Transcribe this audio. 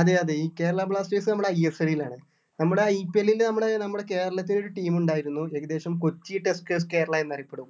അതെ അതെ ഈ കേരള blasters നമ്മുടെ ISL ലാണ് നമ്മുടെ IPL ല് നമ്മുടെ നമ്മുടെ കേരളത്തിന് ഒരു team ഉണ്ടായിരുന്നു ഏകദേശം കൊച്ചി tuskers കേരള എന്ന് അറിയപ്പെടും